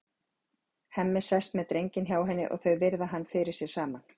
Hemmi sest með drenginn hjá henni og þau virða hann fyrir sér saman.